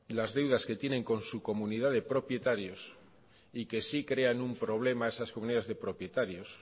las deudas que tienen con su comunidad de propietarios y que sí crean un problema a esas comunidades de propietarios